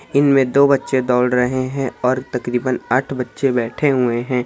इनमें दो बच्चे दोड़ रहें हैं और तकरीबन आठ बच्चे बैठे हुए हैं।